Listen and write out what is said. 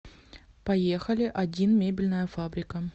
поехали один мебельная фабрика